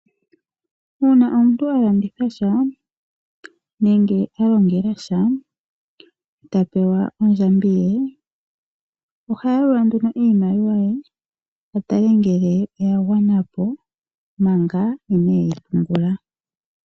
Una omuntu alanditha sha, nenge alongela sha, ta pewa ondjambi ye, oha yalula nduno iimaliwa ye, a tale ngele oya gwanapo manga ineyi pungula.